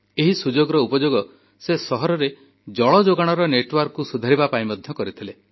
ଏହି ସୁଯୋଗର ଉପଯୋଗ ସେ ସହରରେ ଜଳ ଯୋଗାଣର ନେଟୱର୍କକୁ ସୁଧାରିବା ପାଇଁ ମଧ୍ୟ କରିଥିଲେ